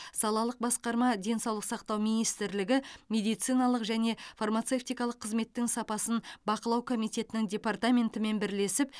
салалық басқарма денсаулық сақтау министрлігі медициналық және фармацевтикалық қызметтің сапасын бақылау комитетінің департаментімен бірлесіп